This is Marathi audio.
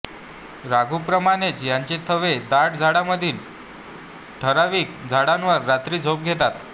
राघूप्रमाणेच यांचे थवे दाट झाडीमधील ठराविक झाडांवर रात्री झोप घेतात